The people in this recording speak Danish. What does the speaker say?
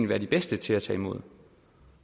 være bedst til at tage imod